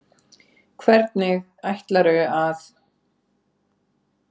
Hvernig ætlarðu að.?